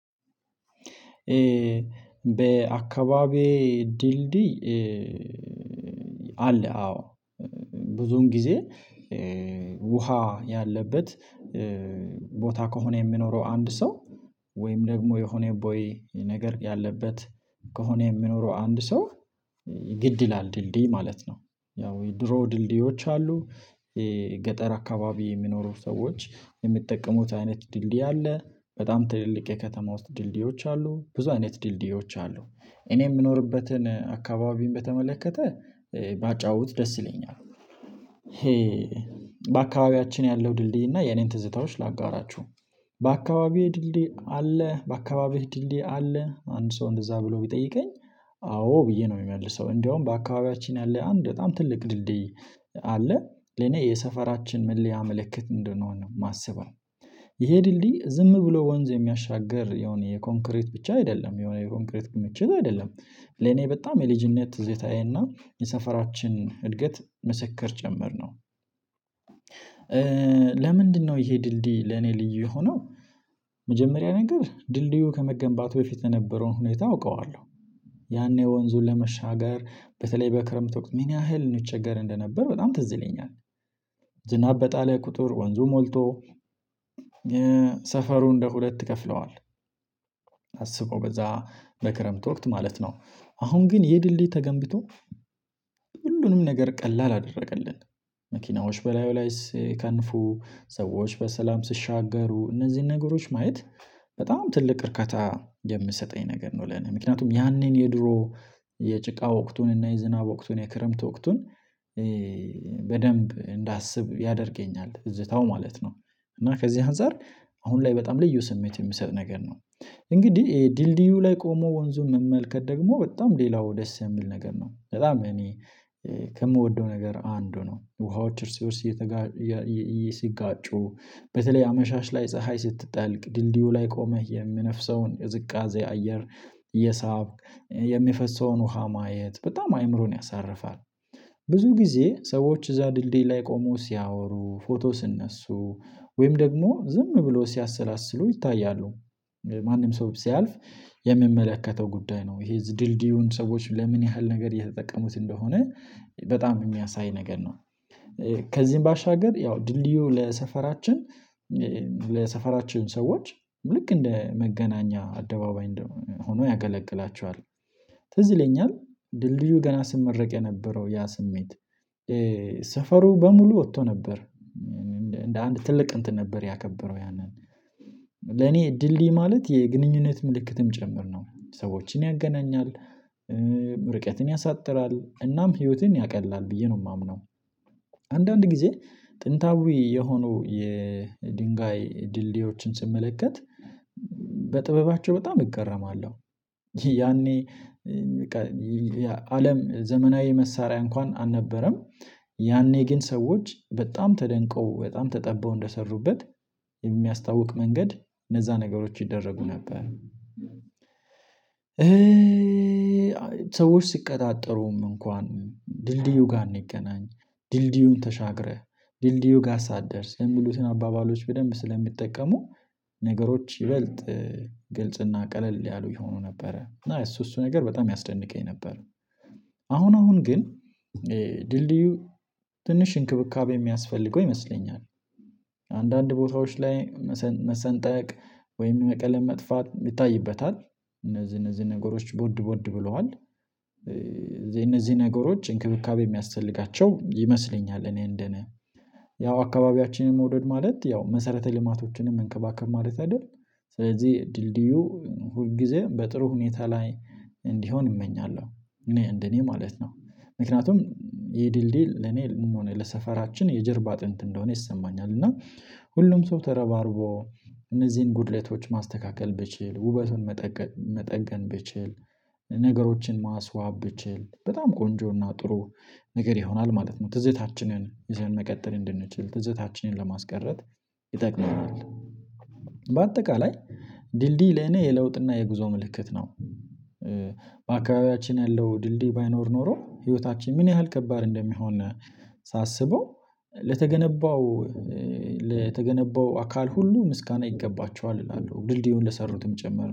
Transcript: በአካባቢዬ ድልድይ አለ አዎ ብዙን ጊዜ ውሃ ያለበት ቦታ ከሆነ የሚኖረው አንድ ሰው ወይም ደግሞ የሆነ ቦኢ ነገር ያለበት ከሆነ የሚኖረው አንድ ሰው ግድ ይላል ድልድይ ማለት ነው። ያው የድሮ ድልድዮች አሉ። የገጠር አካባቢ የሚኖሩት ሰዎች የሚጠቀሙት አይነት ድልድይ አለ። በጣም ትልልቅ የከተማ ውስጥ ድልድዮች አሉ ብዙ አይነት ድልድዮች አሉ። እኔ የምኖርበትን አካባቢን በተመለከተ ባጫውት ደስ ይለኛል። ይሄ በአካባቢያችን ያለው ድልድይና የኔን ትዝታዎች ላጋራችሁ። በአካባቢህ ድልድይ አለ በአካባቢህ ድልድይ አለ? አንድ ሰው እንደዛ ብሎ ቢጠይቀኝ አዎ ብዬ ነው የሚመልሰው። እንደውም በአካባቢያችን ያለ አንድ በጣም ትልቅ ድልድይ አለ ለኔ የሰፈራችን መለያ ምልክት እንድንሆን ነው የማስበው። ይሄ ድልድይ ዝም ብሎ ወንዝ የሚያሻግር የሆነ የኮንክሪት ብቻ አይደለም የሆነ የኮንክሪት ክምችት አይደለም። ለኔ በጣም የልጅነት ትዝታዬ እና የሰፈራችን እድገት ምስክር ጭምር ነው። ለምንድነው ይሄ ድልድይ ለኔ ልዩ የሆነው? መጀመሪያ ነገር ድልድዩ ከመገንባቱ በፊት የነበረውን ሁኔታ አውቀዋለሁ ያኔ ወንዙን ለመሻገር በተለይ በክረምት ወቅት ምን ያህል እንቸገር እንደነበር በጣም ትዝ ይለኛል። ዝናብ በጣለ ቁጥር ወንዙ ሞልቶ ሰፈሩ እንደ ሁለት ከፍለዋል። አስበው በዛ ለክረምት ወቅት ማለት ነው። አሁን ግን ይህ ድልድይ ተገንብቶ ሁሉንም ነገር ቀላል አደረገልን። መኪናዎች በላዩ ላይ ስከንፉ ሰዎች በሰላም ስሻገሩ እነዚህን ነገሮች ማየት በጣም ትልቅ እርከታ የምሰጠኝ ነገር ነው። ለኔ ምክንያቱም ያኔን የድሮ የጭቃ ወቅቱን እና የዝናብ ወቅቱን የክረምት ወቅቱን በደንብ እንዳስብ ያደርገኛል ትዝታው ማለት ነው። እና ከዚህ አንፃር አሁን ላይ በጣም ልዩ ስሜት የሚሰጥ ነገር ነው። እንግዲህ ድልድዩ ላይ ቆሞ ወንዙን መመልከት ደግሞ በጣም ሌላው ደስ የምል ነገር ነው። በጣም እኔ ከምወደው ነገር አንዱ ነው። ውሃዎች እርስ በእርስ ሲጋጩ በተለይ አመሻሽ ላይ ፀሀይ ስትጠልቅ ድልድዩ ላይ ቆመህ የሚነፍሰውን የቅዝቃዜ አየር እየሳብክ የሚፈሰውን ውሃ ማየት በጣም አይምሮን ያሳርፋል። ብዙ ጊዜ ሰዎች እዛ ድልድይ ላይ ቆሞ ሲያወሩ ፎቶ ስነሱ ወይም ደግሞ ዝም ብሎ ሲያሰላስሉ ይታያሉ። ማንም ሰው ስያልፍ የሚመለከተው ጉዳይ ነው ይሄ ድልድዩን ሰዎች ለምን ያህል ነገር እየተጠቀሙት እንደሆነ በጣም የሚያሳይ ነገር ነው። ከዚህም ባሻገር ያው ድልድዩ ለሰፈራችን ለሰፈራችን ሰዎች ልክ እንደ መገናኛ አደባባይ እንደሆነ ሆኖ ያገለግላቸዋል። ትዝ ይለኛል ድልድዩ ገና ስመረቅ የነበረው ያ ስሜት ሰፈሩ በሙሉ ወጥቶ ነበር። እንደ አንድ ትልቅ እንትን ነበር ያከበረው ያንን ለኔ እድል ልይ ማለት የግንኙነት ምልክትም ጭምር ነው ሰዎችን ያገናኛል። ርቀትን ያሳጥራል እናም ህይወትን ያቀላል ብዬ ነው የማምነው። አንዳንድ ጊዜ ጥንታዊ የሆኑ የድንጋይ ድልድዮችን ስመለከት በጥበባቸው በጣም እገረማለሁ። ያኔ በቃ የአለም ዘመናዊ መሳሪያ እንኳን አልነበረም። ያኔ ግን ሰዎች በጣም ተደንቀው በጣም ተጠበው እንደሰሩበት የሚያስታውቅ መንገድ እነዛ ነገሮች ይደረጉ ነበር። ሰዎች ሲቀጣጠሩም እንኳን ድልድዩ ጋር እንገናኝ ዲልድዩን ተሻግረህ ዲልድዩ ጋር ሳትደርስ የሚሉትን አባባሎች በደንብ ስለሚጠቀሙ ነገሮች ይበልጥ ግልጽና ቀለል ያሉ የሆኑ ነበረ እና እሱ እሱ ነገር በጣም ያስደንቀኝ ነበር። አሁን አሁን ግን ድልድዩ ትንሽ እንክብካቤ የሚያስፈልገው ይመስለኛል። አንዳንድ ቦታዎች ላይ መሰንጠቅ ወይም ቀለም መጥፋት ይታይበታል። እነዚህ እነዚህ ነገሮች ቦድ ቦድ ብለዋል። እነዚህ ነገሮች እንክብካቤ የሚያስፈልጋቸው ይመስለኛል እኔ እንደኔ ያው አካባቢያችንን መውደድ ማለት ያው መሰረተ ልማቶችንም መንከባከብ ማለት አይደል? ስለዚህ ድልድዩ ሁል ጊዜ በጥሩ ሁኔታ ላይ እንድሆን እመኛለሁ። እኔ እንደኔ ማለት ነው። ምክንያቱም ይህ ድልድይ ለኔ ምን ሆነ ለሰፈራችን የጀርባ አጥንት እንደሆነ ይሰማኛል። እና ሁሉም ሰው ተረባርቦ እነዚህን ጉድለቶች ማስተካከል ብችል ውበቱን መጠገን ብችል ነገሮችን ማስዋብ ብችል በጣም ቆንጆና ጥሩ ነገር ይሆናል። ማለት ነው ትዝታችንን ይሄን መቀጠል እንድንችል ትዝታችንን ለማስቀረት ይጠቅመናል። በአጠቃላይ ድልድይ ለኔ የለውጥና የጉዞ ምልክት ነው። በአከባቢያችን ያለው ድልድይ ባይኖር ኖሮ ህይወታችን ምን ያህል ከባድ እንደሚሆን ሳስበው ለተገነባው ለተገነባው አካል ሁሉ ምስጋና ይገባችዋል እላለሁ። ድልድዩን ለሰሩትም ጭምር